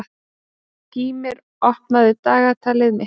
Gýmir, opnaðu dagatalið mitt.